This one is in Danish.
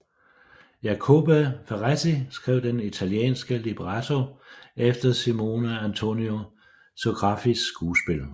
Jacopo Ferretti skrev den italienske libretto efter Simeone Antonio Sografis skuespil